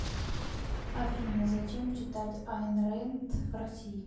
афина зачем читать айн рэнд в россии